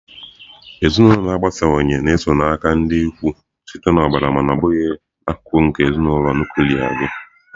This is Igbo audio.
Ezinụlọ agbasawanye na-ezo aka na ndị ikwu site na ọbara mana ọ bụghị akụkụ nke ezinụlọ nuklia gị.